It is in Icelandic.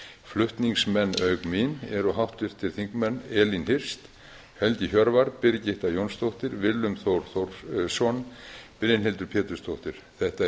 flutningsmenn auk mín eru háttvirtir þingmenn elín hirst helgi hjörvar birgitta jónsdóttir willum þór þórsson brynhildur pétursdóttir þetta er